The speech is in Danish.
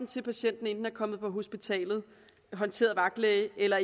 til patienten enten er kommet på hospital håndteret af vagtlæge eller